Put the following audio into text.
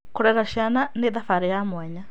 Gũcirera ciana nĩ thabarĩ ya mwanya.